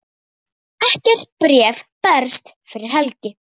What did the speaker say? Ekkert bréf berst fyrir helgi.